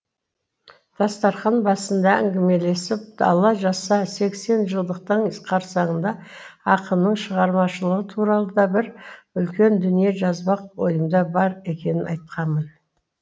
дастархан басында әңгімелесіп алла жазса сексенжылдықтың қарсаңында ақынның шығармашылығы туралы да бір үлкен дүние жазбак ойымда бар екенін айтқанмын